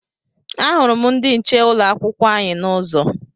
Ahụrụ m ndị nche ụlọ akwụkwọ anyị n'ụzọ.